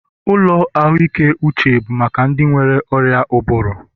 Ụlọ ahụike uche bụ maka ndị nwere ọrịa ụbụrụ